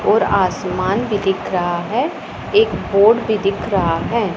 और आसमान भी दिख रहा है एक बोर्ड भी दिख रहा है।